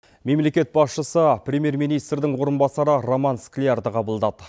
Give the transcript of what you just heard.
мемлекет басшысы премьер министрдің орынбасары роман склярді қабылдады